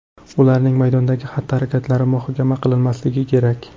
Ularning maydondagi xatti-harakatlari muhokama qilinmasligi kerak.